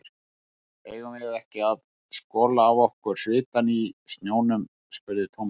Eigum við ekki að skola af okkur svitann í sjónum? spurði Thomas.